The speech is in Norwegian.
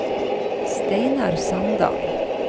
Steinar Sandal